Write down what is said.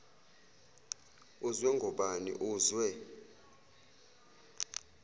uzwe ngobani uzwe